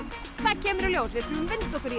það kemur í ljós við skulum vinda okkur í